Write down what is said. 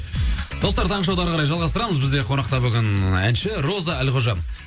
достар таңғы шоуды әрі қарай жалғастырамыз бізде қонақта бүгін әнші роза әлқожа